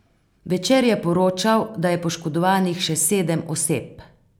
Večer je poročal, da je poškodovanih še sedem oseb.